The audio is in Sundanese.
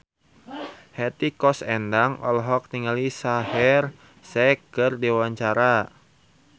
Hetty Koes Endang olohok ningali Shaheer Sheikh keur diwawancara